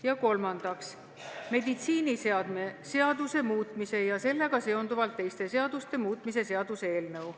Ja kolmandaks, meditsiiniseadme seaduse muutmise ja sellega seonduvalt teiste seaduste muutmise seaduse eelnõu.